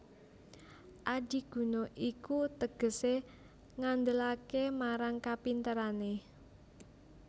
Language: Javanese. Adiguna iku tegesé ngandelaké marang kapinterané